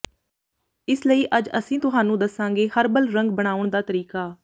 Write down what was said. ਇਸ ਲਈ ਅੱਜ ਅਸੀਂ ਤੁਹਾਨੂੰ ਦਸਾਂਗੇ ਹਰਬਲ ਰੰਗ ਬਣਾਉਣ ਦਾ ਤਰੀਕਾ